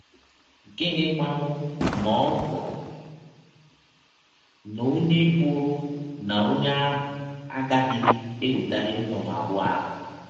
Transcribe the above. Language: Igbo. Gịnịkwanụ ma ọ bụrụ na ọnye bụrụ na ọnye ahụ agaghịdị ewetali nnụnụ abụọ ahụ?